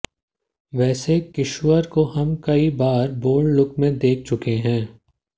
वैसे किश्वर को हम कई बार बोल्ड लुक में देख चुके हैं